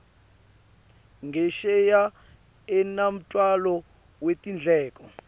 ngesheya unemtfwalo wetindleko